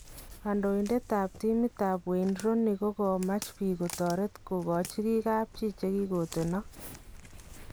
Kandoindetab timit ab Wayne Rooney kokamach biik kotoret kokochi kii kabchi chekigotenak .